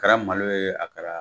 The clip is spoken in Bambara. Kɛra malo ye a kɛra